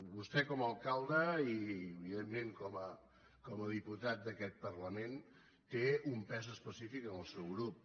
vostè com a alcalde i evidentment com a diputat d’aquest parlament té un pes específic en el seu grup